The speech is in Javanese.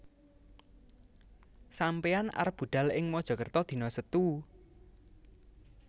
Sampeyan arep budhal ing Mojokerto dino Setu